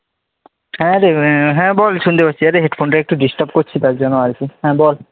হ্যাঁ রে ভাই, হ্যাঁ বল শুনতে পারছি। এইডা headphones টা একটু disturb করছে তার জন্য আর কি, হ্যা বল।